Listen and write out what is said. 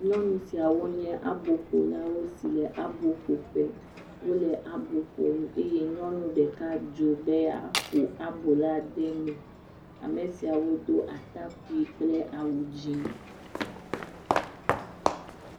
Nyɔnu siawo nye aboƒolawo si le abo ƒo ƒe wole abo ƒom eye nyɔnu ɖeka dzo be yeaƒo abo la de eme, ame siawo do atakpui kple awu dzɛ̃.